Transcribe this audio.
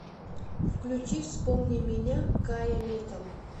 включи вспомни меня кая метова